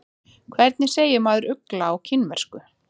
Hvernig segir maður ugla á kínversku?